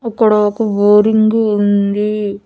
అక్కడ ఒక బోరింగు ఉంది.